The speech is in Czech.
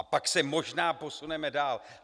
A pak se možná posuneme dál.